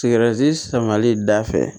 Sigɛriti samali da fɛ